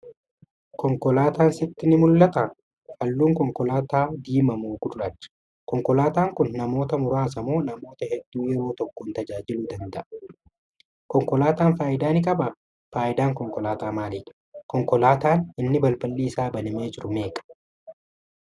Konkolaataan sitti ni mul'ataa?.halluun konkolaataa kanaa diimaa moo gurraacha?. konkolaataan Kuni namoota muraasa moo namoota hedduu yeroo tokkoon tajaajiluu danda'a?. konkolaataan faayidaa ni qabaa?. Faayidaan konkolaataa maalidha?. konkolaataan. inni balballi Isaa banamee jiru meeqa?.